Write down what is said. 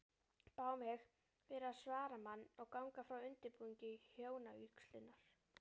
Bað hún mig vera svaramann og ganga frá undirbúningi hjónavígslunnar.